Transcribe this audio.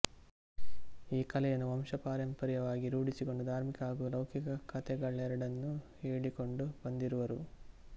ಈ ಕಲೆಯನ್ನು ವಂಶಪಾರಂಪರ್ಯವಾಗಿ ರೂಢಿಸಿಕೊಂಡು ಧಾರ್ಮಿಕ ಹಾಗೂ ಲೌಕಿಕ ಕತೆಗಳೆರಡನ್ನೂ ಹೇಳಿಕೊಂಡು ಬಂದಿರುವರು